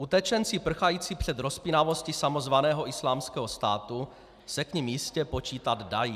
Utečenci prchající před rozpínavostí samozvaného Islámského státu se k nim jistě počítat dají.